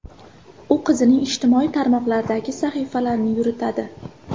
U qizining ijtimoiy tarmoqlardagi sahifalarini yuritadi.